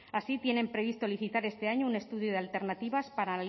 así tienen previsto licitar este año un estudio de alternativas para